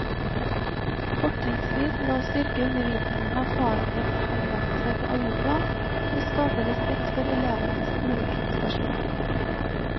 Fortrinnsvis ved å styrke undervisningen av fagets anvendelser på alle plan, og skape respekt for elevenes ulike prestasjoner.